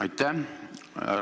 Aitäh!